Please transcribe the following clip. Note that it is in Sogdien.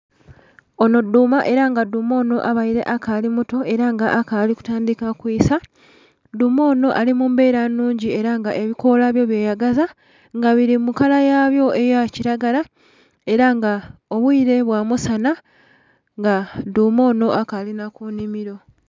Onho dhuma era nga dhuma onho abaire akali muto era nga akali kutandhika kwisaa, dhuma onho ali mu mbera nnhungi era nga ebikola byo byeyagaza nga bili mu kala yabyo eya kilagala era nga obwire bwa musanha nga dhuma onho akali nha ku nhimiro.